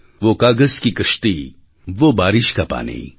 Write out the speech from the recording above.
વો કાગઝ કી કશ્તી વો બારિશ કા પાની